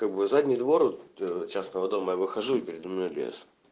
как бы задний двор вот ээ частного дома я выхожу и передо мной лес